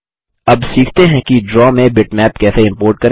अब सीखते हैं कि ड्रा में बिटमैप कैसे इम्पोर्ट करें